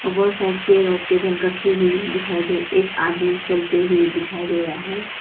और बहुत सारी चेहर ओर टेबल रखी हुई दिखाई दे एक आदमी चलते हुए दिखाई दे रहा है।